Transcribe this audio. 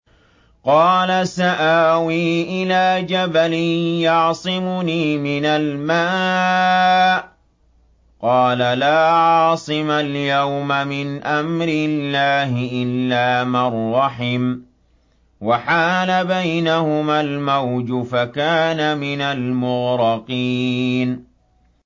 قَالَ سَآوِي إِلَىٰ جَبَلٍ يَعْصِمُنِي مِنَ الْمَاءِ ۚ قَالَ لَا عَاصِمَ الْيَوْمَ مِنْ أَمْرِ اللَّهِ إِلَّا مَن رَّحِمَ ۚ وَحَالَ بَيْنَهُمَا الْمَوْجُ فَكَانَ مِنَ الْمُغْرَقِينَ